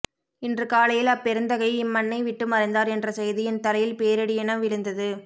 இன்று காலையில் அப்பெருந்தகை இம்மண்ணை விட்டு மறைந்தார் என்ற செய்தி என் தலையில் பேரிடியென விழுந்தது